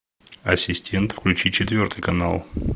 ассистент включи четвертый канал